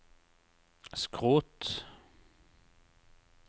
skrot